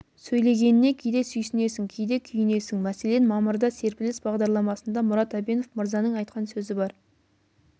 сөйлегеніне кейде сүйсінесің кейде күйінесің мәселен мамырда серпіліс бағдарламасында мұрат әбенов мырзаның айтқан сөзі бар